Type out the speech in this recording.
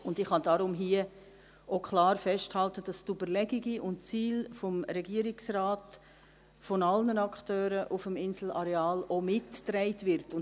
Ich kann deshalb hier auch klar festhalten, dass die Überlegungen und Ziele des Regierungsrates von allen Akteuren auf dem Inselareal mitgetragen werden.